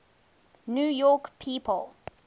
new york people